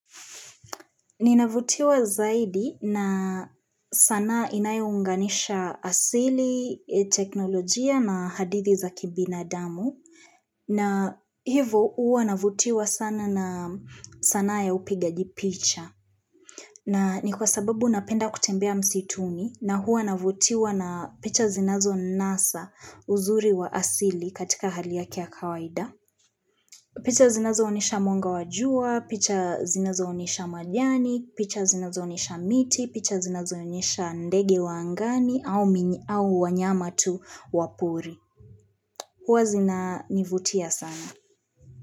Ninavutiwa zaidi na sanaa inayounganisha asili, teknolojia na hadithi za kibinadamu. Na hivo uwa navutiwa sana na sanaa ya upigaji picha. Na ni kwa sababu napenda kutembea msituni na huwa navutiwa na picha zinazonasa uzuri wa asili katika hali yake ya kawaida. Picha zinazoonesha mwanga wa jua, picha zinazoonesha majani, picha zinazoonyesha miti, picha zinazoonyesha ndege wa angani au wanyama tu wa pori. Huwa zinaa nivutia sana.